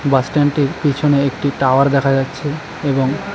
বাসস্ট্যান্ডেটির পিছনে একটি টাওয়ার দেখা যাচ্ছে এবং--